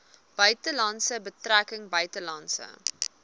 buitelandse betrekkinge buitelandse